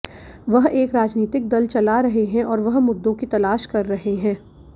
वह एक राजनीतिक दल चला रहे हैं और वह मुद्दों की तलाश कर रहे हैं